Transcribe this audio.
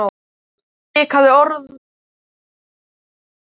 Hún stikaði orðalaust fram í eldhús.